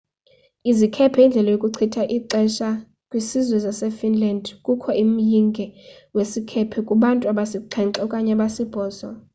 izikhephe yindlela yokuchitha ixesha kwisizwe sasefinland kukho umyinge wesikhephe kubantu abasixhenxe okanye abasibhozo